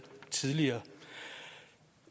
tidligere